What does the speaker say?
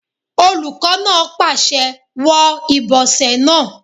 Olùkọ́ náà pàṣẹ "wọ ìbọ̀sẹ̀ rẹ!"